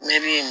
Meri in